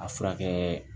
A furakɛ